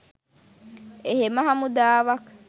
එහෙම හමුදාවක්